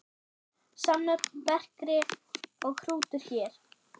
Samnöfn bekri og hrútur hér.